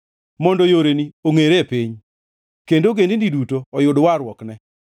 mondo yoreni ongʼere e piny, kendo ogendini duto oyud warruokne.